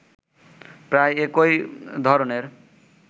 প্রায় একই ধরনের